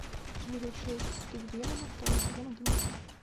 выжившие среди демонов второй сезон одиннадцать